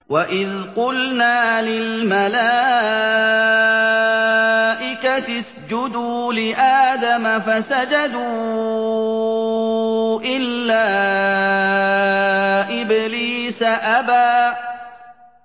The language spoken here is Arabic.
وَإِذْ قُلْنَا لِلْمَلَائِكَةِ اسْجُدُوا لِآدَمَ فَسَجَدُوا إِلَّا إِبْلِيسَ أَبَىٰ